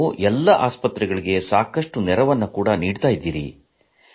ನೀವು ಎಲ್ಲಾ ಆಸ್ಪತ್ರೆಗಳಿಗೆ ಸಾಕಷ್ಟು ನೆರವು ನೀಡುತ್ತಿದ್ದೀರಿ